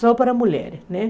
Só para mulheres, né?